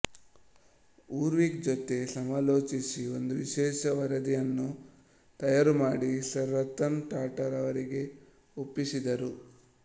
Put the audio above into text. Urwick ಜೊತೆ ಸಮಾಲೋಚಿಸಿ ಒಂದು ವಿಶೇಷವರದಿಯನ್ನು ತಯಾರುಮಾಡಿ ಸರ್ ರತನ್ ಟಾಟಾರವರಿಗೆ ಒಪ್ಪಿಸಿದರು